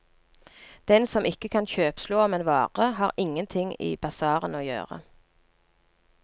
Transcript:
Den som ikke kan kjøpslå om en vare, har ingenting i basarene å gjøre.